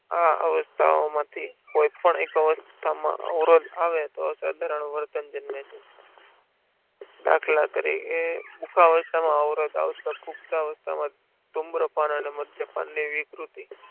આ અવસ્થાઓ માંથી કોઈપણ એક અવસ્થામાં અવરોધ આવે તો સાધારણ વર્તન જન્મે છ દાખલા તરીકે બુઢા અવસ્થામાં અવરોધ આવતો હોય ધુમ્રપાન અને મધ્ય પાનની વિકૃતિ